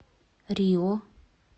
рио